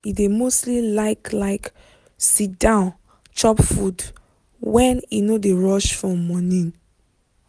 she like sit-down chop e dey e dey give her peace and chance to gist well.